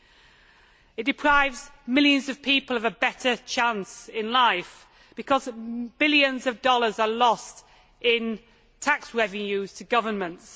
Illegal logging deprives millions of people of a better chance in life because billions of dollars are lost in tax revenues to governments.